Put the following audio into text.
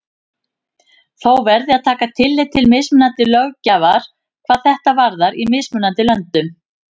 Þó verði að taka tillit til mismunandi löggjafar hvað þetta varðar í mismunandi löndum.